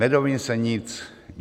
Nedozvím se nic.